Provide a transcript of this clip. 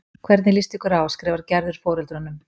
Hvernig líst ykkur á? skrifar Gerður foreldrunum.